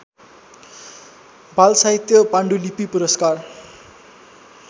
बालसाहित्य पाण्डुलिपि पुरस्कार